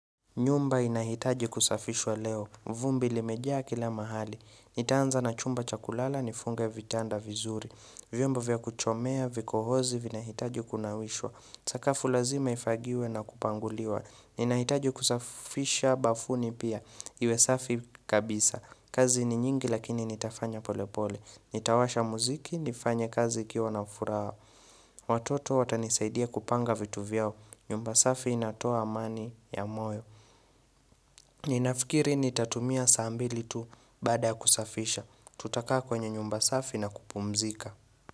Nyumba inahitaji kusafishwa leo. Vumbi ilimejaa kila mahali. Nitaanza na chumba chakulala nifunge vitanda vizuri. Vyombo vya kuchomea vikohozi vina hitaji kunawishwa. Sakafu lazima ifagiwe na kupanguliwa. Inahitaji kusafisha bafuni pia. Iwe safi kabisa. Kazi ni nyingi lakini nitafanya polepole. Nitawasha muziki, nifanya kazi ikiwa na furaha. Watoto watanisaidia kupanga vitu vyao. Nyumba safi inatoa amani ya moyo. Ninafikiri ni tatumia saa mbili tu baada ya kusafisha. Tutakaa kwenye nyumba safi na kupumzika.